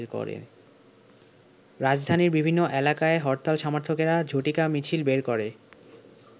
রাজধানীর বিভিন্ন এলাকায় হরতাল সমর্থকরা ঝটিকা মিছিল বের করে।